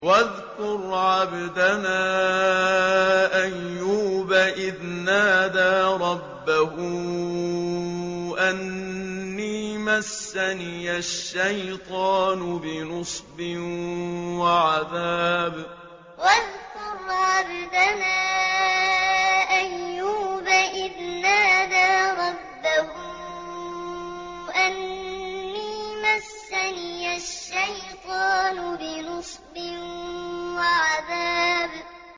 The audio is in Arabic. وَاذْكُرْ عَبْدَنَا أَيُّوبَ إِذْ نَادَىٰ رَبَّهُ أَنِّي مَسَّنِيَ الشَّيْطَانُ بِنُصْبٍ وَعَذَابٍ وَاذْكُرْ عَبْدَنَا أَيُّوبَ إِذْ نَادَىٰ رَبَّهُ أَنِّي مَسَّنِيَ الشَّيْطَانُ بِنُصْبٍ وَعَذَابٍ